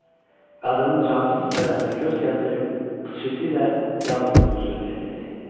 Qadının cansız bədəninə göz gəzdirib pıçıltı ilə yalnız bunu söyləyə bildi: